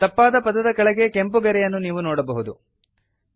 ತಪ್ಪಾದ ಪದದ ಕೆಳಗೆ ಕೆಂಪು ಗೆರೆಯನ್ನು ನೀವು ನೋಡಬಹುದು